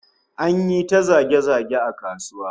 An yi ta zage-zage a kasuwa